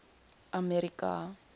america